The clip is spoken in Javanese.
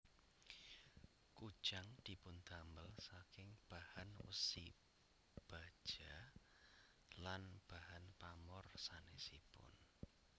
Kujang dipundamel saking bahan wesi baja lan bahan pamor sanésipun